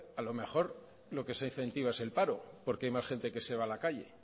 a lo mejor lo que se incentiva es el paro porque hay más gente que se va a la calle